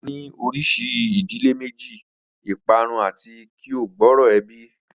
A ni orisi idile meji, iparun ati ki o gbooro ebi